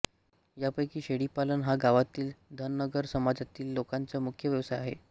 यापैकी शेळीपालन हा गावातील धनगर समाजातील लोकांचा मुख्य व्यवसाय आहे